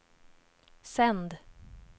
sänd